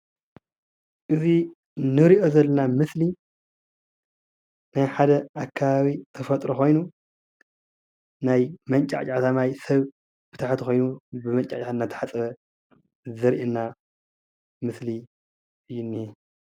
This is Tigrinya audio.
እዚ እንሪኦ ዘለና ምስሊ ናይ ሓደ ኣከባቢ ተፈጥሮ ኾይኑ ናይ መንጫዕጫዕታ ማይ ሰብ ብታሕቲ ኾይኑ ብመንጫዕጫዕታ እናተሓፀበ ዘርእየና ምስሊ እዩ እኒሀ ።